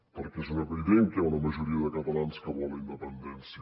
perquè és una evident que una majoria de catalans que vol la independència